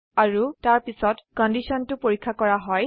আৰু তাৰপিছত কন্ডিশনটো পৰীক্ষা কৰা হয়